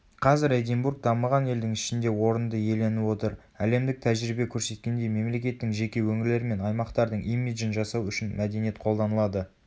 қазір эдинбург дамыған елдің ішінде орынды иеленіп отыр әлемдік тәжірибе көрсеткендей мемлекеттің жеке өңірлер мен аймақтардың имиджін жасау үшін мәдениет қолданылады